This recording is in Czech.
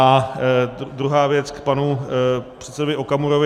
A druhá věc k panu předsedovi Okamurovi.